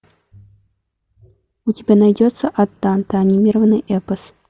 у тебя найдется ад данте анимированный эпос